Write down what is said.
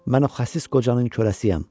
Mən o xəsis qocanın kürəsiyəm.